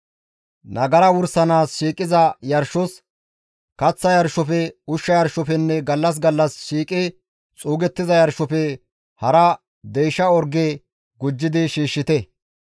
Nagara wursanaas shiiqiza yarshos, kaththa yarshofe, ushsha yarshofenne gallas gallas shiiqi xuugettiza yarshofe hara deysha orge gujjidi shiishshite.